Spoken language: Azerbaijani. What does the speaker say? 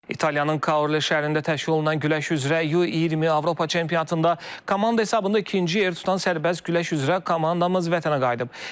İtaliyanın Kaole şəhərində təşkil olunan güləş üzrə U-20 Avropa çempionatında komanda hesabında ikinci yer tutan sərbəst güləş üzrə komandamız vətənə qayıdıb.